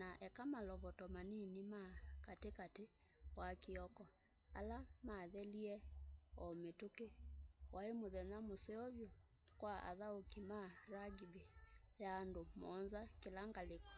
na eka malovoto manini ma kati kati wa kioko ala mathelie o mituki wai muthenya museo vyu kwa athauki ma ma rugby ya andu muonza kila ngaliko